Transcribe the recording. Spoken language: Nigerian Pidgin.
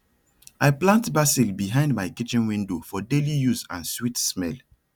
i plant basil behind my kitchen window for daily use and sweet smell